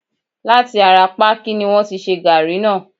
láti ará pákí ni wọ́n ti ṣe gaàrí náà.